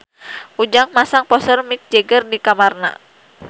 Ujang masang poster Mick Jagger di kamarna